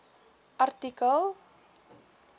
artikel